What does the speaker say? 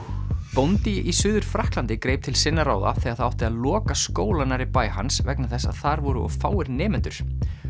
bóndi í Suður Frakklandi greip til sinna ráða þegar það átti að loka skóla nærri bæ hans vegna þess að þar eru of fáir nemendur